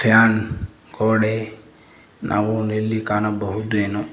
fan ಗೋಡೆ ನಾವು ಇಲ್ಲಿ ಕಾಣಬಹುದೇನೋ--